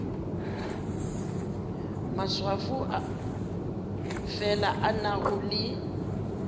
maswafo fela a nago le